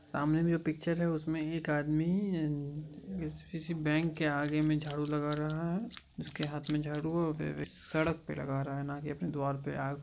सामने मे ये पिच्चर है उसमे एक आदमी किसी बैंक के आगे में झाडु लगा रहा है उसके हाथ में झाड़ू है सड़क पे लगा रहा है नाकी अपने द्वार पे